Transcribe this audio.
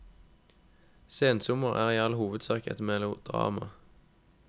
Sensommer er i all hovedsak et melodrama.